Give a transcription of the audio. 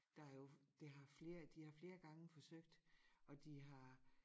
Der har jo det har flere de har flere gange forsøgt og de har